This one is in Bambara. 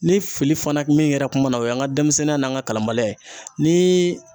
Ni fili fana min yera kuma na, o y'an ka denmisɛnninya n'an ka kalanbaliya ye niii